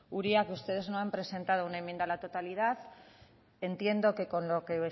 uria que ustedes no han presentado una enmienda a la totalidad entiendo que con lo que